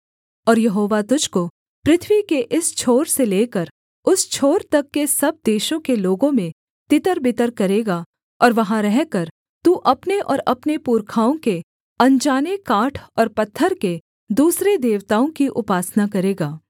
और यहोवा तुझको पृथ्वी के इस छोर से लेकर उस छोर तक के सब देशों के लोगों में तितरबितर करेगा और वहाँ रहकर तू अपने और अपने पुरखाओं के अनजाने काठ और पत्थर के दूसरे देवताओं की उपासना करेगा